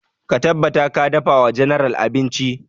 Ka tabbata ka dafa wa general abinci!